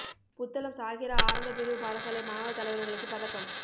புத்தளம் ஸாஹிரா ஆரம்பப் பிரிவு பாடசாலை மாணவத் தலைவர்களுக்கு பதக்கம்